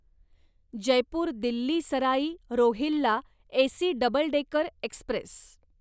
Jaipur Delhi Sarai Rohilla AC double decker Express